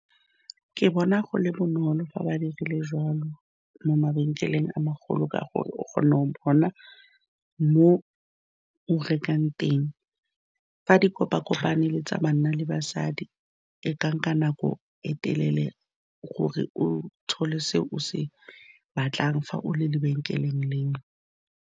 Ke bona go le bonolo fa ba dirile jwalo mo mabenkeleng a magolo ka gore o kgone go bona mo o rekang teng fa di kopa-kopane le tsa banna le basadi e ka nka nako e telele gore o thole se o se batlang fa o le lebenkeleng leo.